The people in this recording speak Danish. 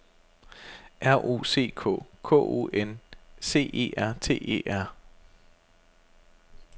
R O C K K O N C E R T E R